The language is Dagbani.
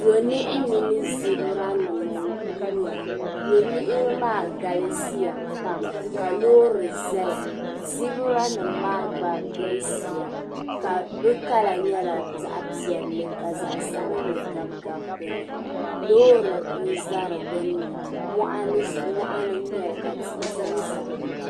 Yo niɣi mini zibira nim n guura yɛ niɣi maa galisiya pam, ka lɔɔri zaya zibiranim maa gba galisiya bi kala nyala zaɣi piɛli, ka zaɣi sabinli gabi gabi dini, lɔɔri n za di gbunni mɔɣini n nyɛli la tihi zanzaya.